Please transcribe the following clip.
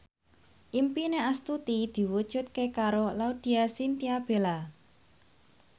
impine Astuti diwujudke karo Laudya Chintya Bella